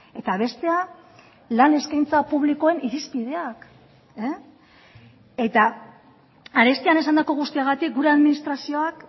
eta bestea lan eskaintza publikoen irizpideak eta arestian esandako guztiagatik gure administrazioak